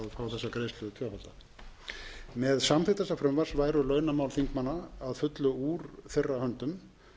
greiðslu tvöfalda með samþykkt þessa frumvarps væru launamál þingmanna að fullu úr þeirra höndum